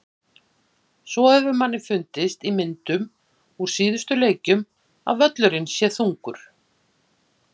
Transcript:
Svo hefur manni fundist í myndum úr síðustu leikjum að völlurinn sé þungur.